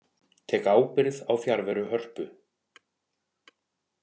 Tek ábyrgð á fjarveru Hörpu